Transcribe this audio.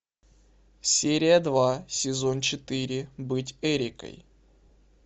серия два сезон четыре быть эрикой